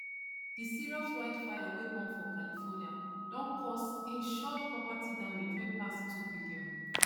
di serious wildfire wey burn for california don cause insured property damage wey pass two billion